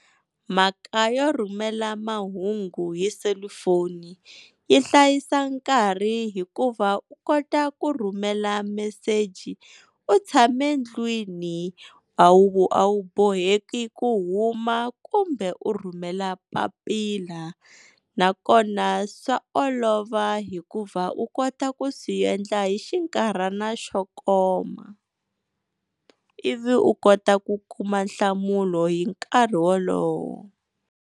Mhaka yo rhumela mahungu hi selufoni yi hlayisa nkarhi hikuva u kota ku rhumela meseji u tshame ndlwini a wu a wu boheki ku huma kumbe u rhumela papila nakona swa olova hikuva u kota ku swi endla hi xinkarhana xo koma, ivi u kota ku kuma nhlamulo hi nkarhi wolowo.